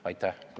Aitäh!